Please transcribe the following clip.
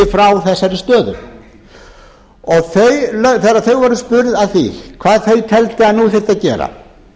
frá þessari stöðu þegar þau voru spurð að því hvað þau teldu að nú þyrfti að gera